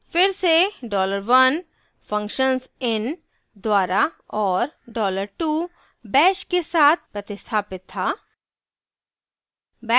फिर से dollar 1 $1 functions in द्वारा और dollar 2 $2 bash के साथ प्रतिस्थापित था